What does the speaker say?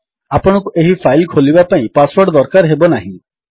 ଆପଣଙ୍କୁ ଏହି ଫାଇଲ୍ ଖୋଲିବା ପାଇଁ ପାସୱର୍ଡ ଦରକାର ହେବନାହିଁ